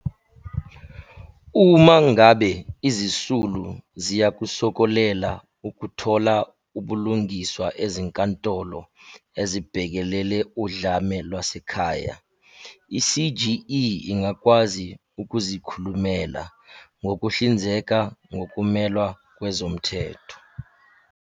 Uma ngabe izisulu ziyakusokolela ukuthola ubulungiswa Ezinkantolo ezibhekelele Udlame Lwasekhaya, i-CGE ingakwazi ukuzikhulumela, ngokuhlinzeka ngokumelwa kwezomthetho.